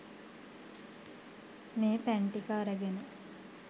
මේ පැන් ටික අරගෙන